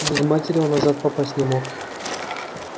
без матери он назад попасть не мог